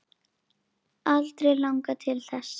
Aldrei langað til þess.